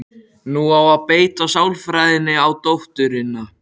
Nú á að beita sálfræðinni á dótturina.